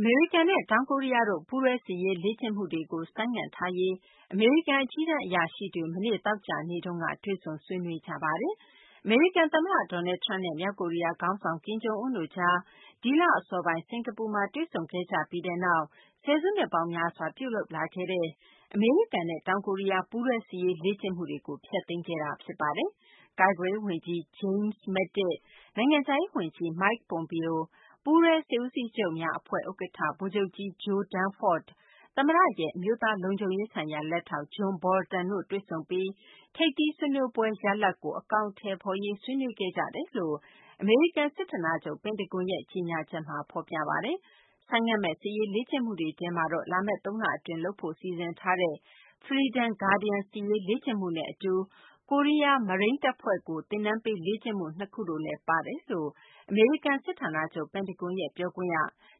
အမေရိကန်နဲ့ တောင်ကိုရီးယားတို့ ပူးတွဲစစ်ရေးလေ့ကျင့်မှုတွေကို ဆိုင်းငံ့ထားရေး အမေရိကန် အကြီးတန်း အရာရှိကြီးတွေ မနေ့ သောကြာနေ့မှာ တွေ့ဆုံ ဆွေးနွေးခဲ့ကြပါတယ်။ အမေရိကန် သမ္မတ Donald Trump နဲ့ မြောက်ကိုရီးယား ခေါင်းဆောင် ကင်ဂျုံအွန်းတို့ကြား ဒီလ အစောပိုင်း စကာၤပူမှာ တွေ့ဆုံခဲ့ကြပြီးနောက် ဆယ်စုနှစ်ပေါင်းများစွာ ပြုလုပ်လာခဲ့တဲ့ အမေရိကန်နဲ့ တောင်ကိုရီးယား ပူးတွဲ စစ်ရေးလေ့ကျင့်မှုတွေကို ဖျက်သိမ်းခဲ့တာ ဖြစ်ပါတယ်။ ကာကွယ်ရေး ဝန်ကြီး James Mattis၊ နိုင်ငံခြားရေး ဝန်ကြီး Mike Pompeo ၊ ပူးတွဲစစ်ဦးစီးချုပ်များ အဖွဲ့ ဥက္ကဋ္ဌ ဗိုလ်ချုပ်ကြီး Joe Dunford၊ သမ္မတရဲ့ အမျိုးသားလုံခြုံရေးဆိုင်ရာ လက်ထောက် John Bolton တို့ တွေ့ဆုံပြီး ထိပ်သီးဆွေးနွေးပွဲက ရလဒ်ကို အကောင်အထည်ဖော်ရေး ဆွေးနွေးခဲ့ကြကြောင်း အမေရိကန် စစ်ဌာနချုပ် ပင်တဂွန်ရဲ့ ကြေညာချက်မှာ ဖော်ပြထားပါတယ်။ ဆိုင်းငံ့မယ့် စစ်ရေးလေ့ကျင့်မှုတွေထဲမှာတော့ လာမယ့် သုံးလအတွင်း လုပ်ဖို့ စီစဉ်ထားတဲ့ Freedom Guardian စစ်ရေးလေ့ကျင့်မှုနဲ့ အတူ ကိုရီးယား မရိန်းတပ်ဖွဲ့ကို သင်တန်းပေး လေ့ကျင့်မှု ၂ခုလည်း ပါဝင်တယ်လို့ အမေရိကန် စစ်ဌာနချုပ် ပင်တဂွန်ရဲ့ ပြောခွင့်ရ